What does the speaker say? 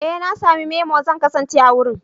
Ee na sami memo, zan kasance a wurin.